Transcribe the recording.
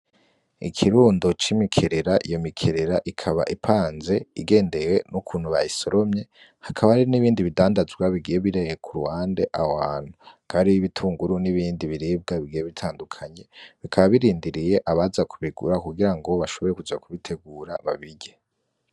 Ikirundo c'imikerera iyo mikerera ikaba ipanze igendewe n'ukuntu bayisoromye hakaba ari n'ibindi bidandajwa bigiye bireye ku ruwande awantu kari b'ibitunguru n'ibindi biribwa bigiye bitandukanye bikababirindiriye abaza kubigura kugira ngo bashobore kuja kubitegura babire.